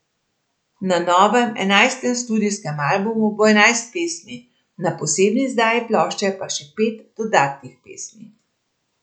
Na novem, enajstem studijskem albumu bo enajst pesmi, na posebni izdaji plošče pa še pet dodatnih pesmi.